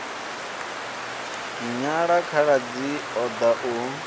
nyala khaladzi o ḓa u